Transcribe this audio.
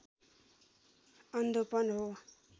अन्धोपन हो